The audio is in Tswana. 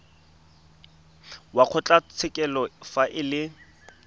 wa kgotlatshekelo fa e le